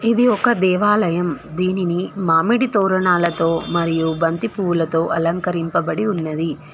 ఇది ఒక దేవాలయం దీనిని మామిడి తోరణాలతో మరియు బంతిపూల తో అలంకరింపబడి ఉన్నది.